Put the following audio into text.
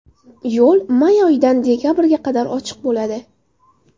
Yo‘l may oyidan dekabrga qadar ochiq bo‘ladi.